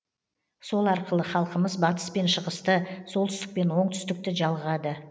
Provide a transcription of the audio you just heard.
сол арқылы халқымыз батыс пен шығысты солтүстік пен оңтсүтікті жалғады